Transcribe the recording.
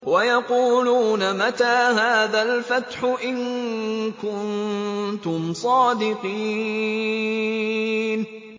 وَيَقُولُونَ مَتَىٰ هَٰذَا الْفَتْحُ إِن كُنتُمْ صَادِقِينَ